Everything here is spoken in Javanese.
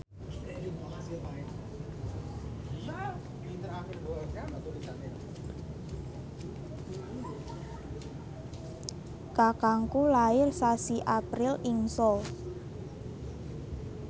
kakangku lair sasi April ing Seoul